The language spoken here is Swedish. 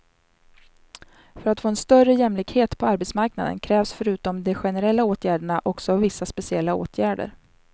För att få en större jämlikhet på arbetsmarknaden krävs förutom de generella åtgärderna också vissa speciella åtgärder.